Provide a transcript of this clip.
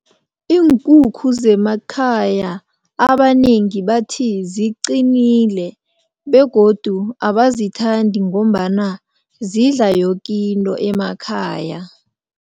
Iinkukhu zemakhaya abanengi bathi ziqinile begodu abazithandi ngombana zidla yokinto emakhaya.